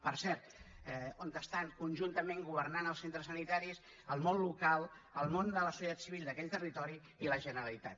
per cert on estan conjuntament governant els centres sanitaris en el món local el món de la societat civil d’aquell territori i la generalitat